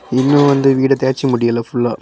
இன்னு வந்து வீட தேச்சு முடியல ஃபுல்லா .